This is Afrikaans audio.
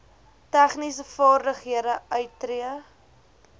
tegniese vaardighede uittree